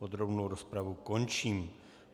Podrobnou rozpravu končím.